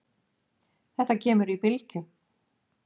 Þetta kemur í bylgjum.